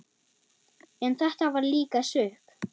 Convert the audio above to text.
En þetta var líka sukk.